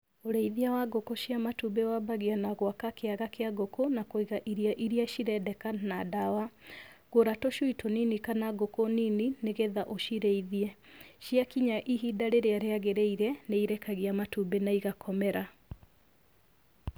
Ũrĩithia wa ngũkũ cia matumbĩ wambagia na gũaka kĩaga kĩa ngũkũ na kũiga irio iria cirendeka na ndawa. Gũra tũcui tũnini kana ngũkũ nini nĩ getha ũcirĩithie. Ciakinya ihinda rĩrĩa rĩagĩrĩire nĩirekagia matumbĩ na igakomera.